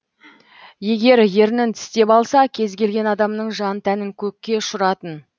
егер ернін тістеп алса кез келген адамның жан тәнін көкке ұшыратын